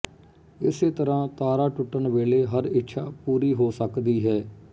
ਇਸੇ ਤਰ੍ਹਾਂ ਤਾਰਾ ਟੁਟਣ ਵੇਲੇ ਹਰ ਇੱਛਾ ਪੂਰੀ ਹੋ ਸਕਦੀ ਹੈ